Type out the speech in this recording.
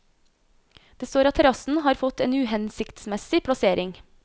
Det står at terrassen har fått en uhensiktsmessig plassering.